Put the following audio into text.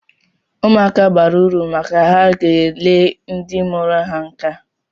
Ụmụaka bara uru maka ha ga-ele ndị mụrụ ha nka